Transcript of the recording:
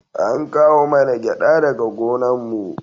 An kawo mana gyada daga gonan mu